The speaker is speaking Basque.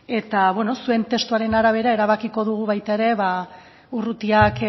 eta bueno zuen testuaren arabera erabakiko dugu baita ere urrutiak